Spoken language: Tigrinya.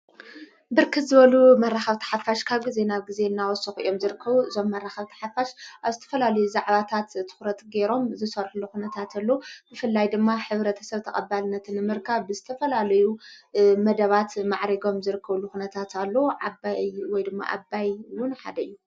ብርክት ዝበሉ መራኻብቲ ሓፋሽ ካብ ጊዜ ናብ ጊዜ እናወስሕእዮም ዘርከዉ ዞም መራኻብቲ ሓፋሽ ኣብ ስተፈላልዩ ዛዕባታት ትዂረት ገይሮም ዝሠርሕ ሉኽነታትሉ ብፍላይ ድማ ኅብረ ተሰብ ተቐባልነትን ምርካ ብስተፈላልዩ መደባት ማዕሪጎም ዘርከው ልዂነታት ኣሎ ዓይ ወይ ድማ ዓይውን ሓደዩ